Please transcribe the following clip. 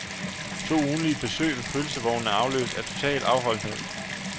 To ugentlige besøg ved pølsevognen er afløst af total afholdenhed.